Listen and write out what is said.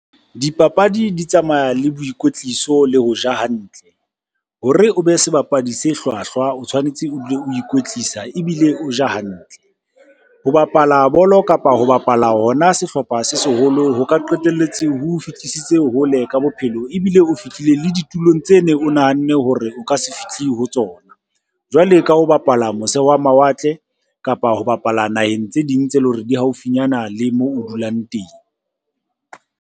Dipapadi di tsamaya le boikwetliso le ho ja hantle, hore o be sebapadi se hlwahlwa o tshwanetse o dule o ikwetlisa ebile o ja hantle. Ho bapala bolo kapa ho bapala hona sehlopha se seholo ho ka qetelletse ho o fihlisitse hole ka bophelo ebile o fihlile le ditulong tse neng o nahanne hore o ka se fihle ho tsona. Jwale ka ho bapala mose wa mawatle kapa ho bapala naheng tse ding tse leng hore di haufinyana le moo o dulang teng.